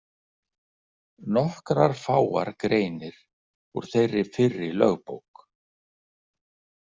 Nokkrar fáar greinir úr þeirri fyrri lögbók.